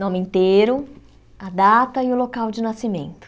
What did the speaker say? Nome inteiro, a data e o local de nascimento.